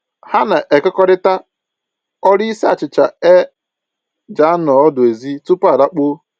Ha na-ekekọrịta ọrụ isi achịcha e ji anọ ọdụ ezi tupu a lakpuo